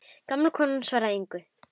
Gamla konan svarar engu.